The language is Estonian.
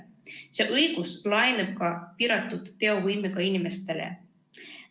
See õigus laieneb ka piiratud teovõimega inimestele.